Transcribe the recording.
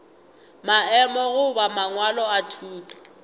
maemo goba mangwalo a thuto